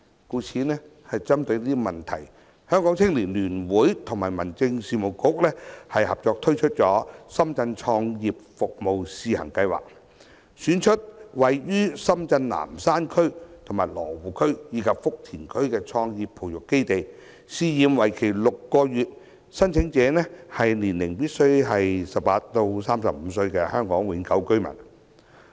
故此針對這問題，香港青年聯會和民政事務局合作推出深圳創業服務試行計劃，選出位於深圳南山區、羅湖區和福田區的創業培育基地，試驗為期6個月，申請者年齡必須為18至35歲的香港永久居民。